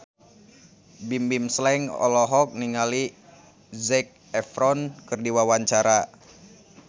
Bimbim Slank olohok ningali Zac Efron keur diwawancara